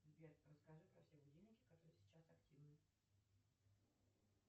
сбер расскажи про все будильники которые сейчас активны